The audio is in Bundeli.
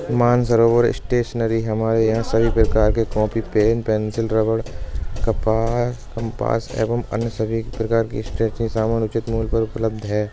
मानसरोवर स्टेशनरी हमारे यहाँ सभी प्रकार की कॉपी पेन पेन्सिल रबड़ कपास कंपास एवं अन्य सभी प्रकार की स्टेशनरी समान उचित मूल्य पर उपलब्ध हैं